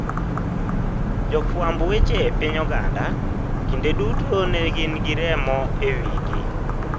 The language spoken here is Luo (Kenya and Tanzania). Jofwamb weche e piny Ogande, kinde duto ne gin gi remo e wigi.